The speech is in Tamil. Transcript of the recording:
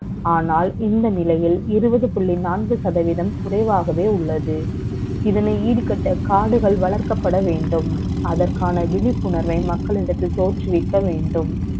ஆனால், இந்த நிலை யில், இருபது புள்ளி நான்கு சதவதீ ம் குறை வாகவே உள்ளது. இதனை ஈடுகட்ட, காடுகள் வளர்க்கப்பட வே ண்டும் அதற்கான விழிப்புணர்வை மக்களிடத்தில் த ோற்றுவிக்க வே ண்டும்